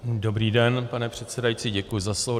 Dobrý den, pane předsedající, děkuji za slovo.